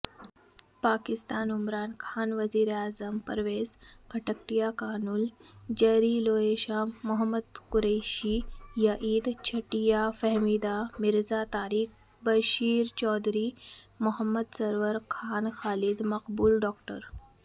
پاکستانعمران خانوزیراعظمپرویز خٹکٹیکنالوجیریلوےشاہ محمود قریشیعیدچھٹیاںفہمیدہ مرزاطارق بشیرچوہدری محمد سرور خانخالد مقبولڈاکٹر